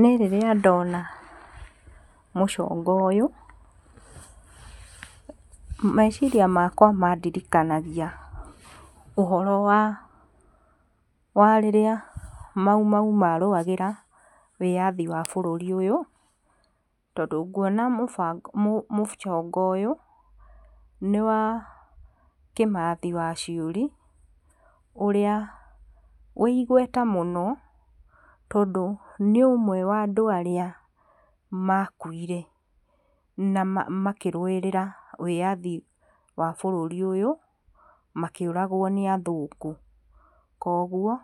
Niĩ rĩrĩa ndona mũcongo ũyũ, meciria makwa mandirikanagia ũhoro wa wa rĩrĩa mau mau marũagĩra wĩathi wa bũrũri ũyũ, tondc nguona mũcongo ũyũ, nĩwa Kĩmathi wa Ciuri, ũrĩa wĩ igweta mũno, tondũ nĩũmwe wa andũ arĩa makuire, na makĩruĩrĩra wĩyathi wa bũrũri ũyũ, makĩũragwo nĩ athũngũ, koguo,